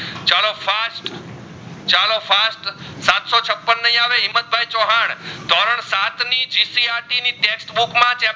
છપ્પન નહીં આવે હિમ્મતભાઈ ચૌહાણ ધોરણ સાત ની GCRT ની ટેક્સ્ટબૂક માં